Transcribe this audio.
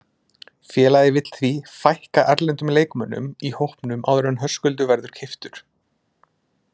Félagið vill því fækka erlendum leikmönnum í hópnum áður en Höskuldur verður keyptur.